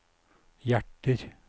hjerter